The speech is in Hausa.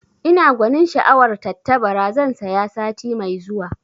Ina gwanin sha'awar tattabara, zan saya sati mai zuwa